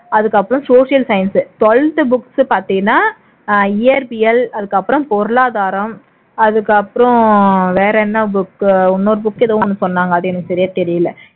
அதுக்கப்புறம் social science twelfth book பார்த்தீன்னா இயற்பியல் அதுக்கப்புறம் பொருளாதாரம் அதுக்கு அப்புறம் வேற என்ன book இன்னொரு book எதோ ஒண்ணு சொன்னாங்க அது எனக்கு சரியா தெரியல